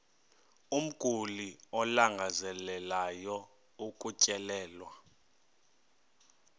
umguli alangazelelayo ukutyelelwa